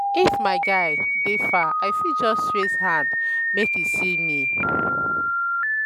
if my guy dey far i fit just raise hand make e see me.